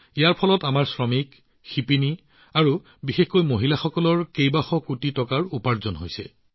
ইয়াৰ বাবে আমাৰ শ্ৰমিক শিপিনী আৰু বিশেষকৈ মহিলাসকলেও শ শ কোটি টকা উপাৰ্জন কৰিছে